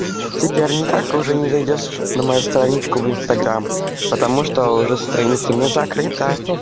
теперь никак уже не зайдёшь на мою страничку в инстаграм потому что уже страница у меня закрыта